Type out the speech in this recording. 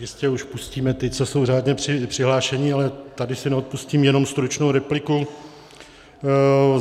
Jistě už pustíme ty, co jsou řádně přihlášeni, ale tady si neodpustím jenom stručnou repliku.